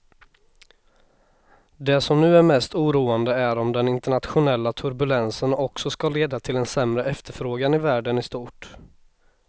Det som nu är mest oroande är om den internationella turbulensen också ska leda till en sämre efterfrågan i världen i stort.